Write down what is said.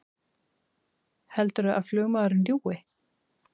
Heldurðu að flugmaðurinn ljúgi!